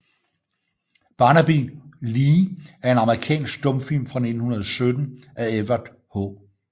Barnaby Lee er en amerikansk stumfilm fra 1917 af Edward H